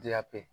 Diyape